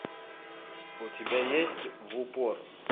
у тебя есть в упор